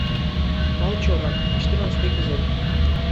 волчонок четырнадцатый эпизод